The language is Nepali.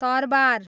तरबार